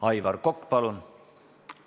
Aivar Kokk, palun!